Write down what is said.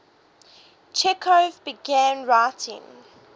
chekhov began writing